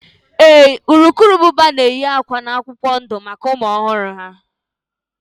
Ee, urukurubụba na-edina akwa na epupụta maka ụmụ ọhụrụ ha